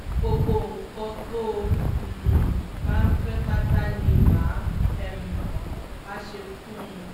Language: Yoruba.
gbogbo nǹkan tó um bá ń fẹ́ pátá ni mà um á ṣe fún un